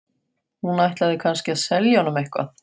Hún ætlaði kannski að selja honum eitthvað.